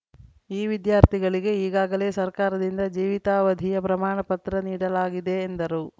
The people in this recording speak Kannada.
ಈ ವಿದ್ಯಾರ್ಥಿಗಳಿಗೆ ಈಗಾಗಲೇ ಸರ್ಕಾರದಿಂದ ಜೀವಿತಾವಧಿಯ ಪ್ರಮಾಣ ಪತ್ರ ನೀಡಲಾಗಿದೆ ಎಂದರು